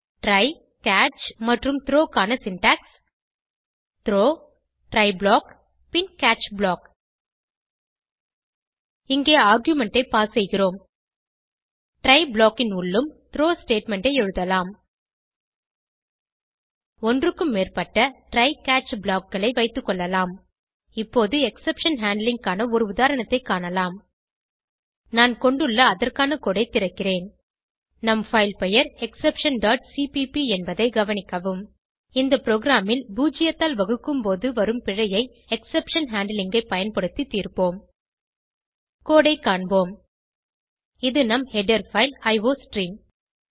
try catch மற்றும் throw க்கான syntax Throw try block பின் கேட்ச் ப்ளாக் இங்கே ஆர்குமென்ட் ஐ பாஸ் செய்கிறோம் ட்ரை ப்ளாக் ன் உள்ளும் த்ரோ ஸ்டேட்மெண்ட் ஐ எழுதலாம் ஒன்றுக்கும் மேற்பட்ட ட்ரை கேட்ச் blockகளை வைத்துக்கொள்ளலாம் இப்போது எக்ஸெப்ஷன் ஹேண்ட்லிங் க்கான ஒரு உதாரணத்தைக் காணலாம் நான் கொண்டுள்ள அதற்கான கோடு திறக்கிறேன் நம் பைல் பெயர் exceptionசிபிபி என்பதை கவனிக்கவும் இந்த ப்ரோகிராமில் பூஜ்ஜியத்தால் வகுக்கும்போது வரும் பிழையை எக்ஸெப்ஷன் ஹேண்ட்லிங் ஐ பயன்படுத்தி தீர்ப்போம் கோடு ஐ காண்போம் இது நம் ஹெடர் பைல் அயோஸ்ட்ரீம்